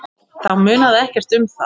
Þá munaði ekkert um það.